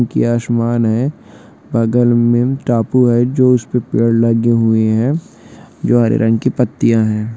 आसमान है बगल में टापू है जो उसपे पेड़ लगे हुई है जो हरे रंग की पत्तिया है।